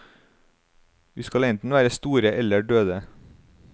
Vi skal enten være store eller døde.